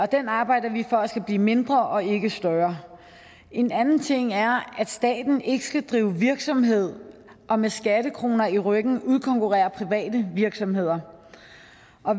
den arbejder vi for skal blive mindre og ikke større en anden ting er at staten ikke skal drive virksomhed og med skattekroner i ryggen udkonkurrere private virksomheder